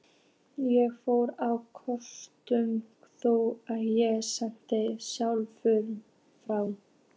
Ég fór á kostum, þó ég segi sjálfur frá.